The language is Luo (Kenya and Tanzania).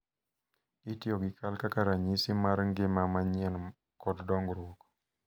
itiyo gi kal kaka ranyisi mar ngima manyien kod dongruok.